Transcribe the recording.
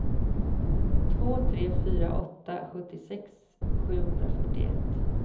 två sex fyra åtta sjuttiosex sjuhundrafyrtioett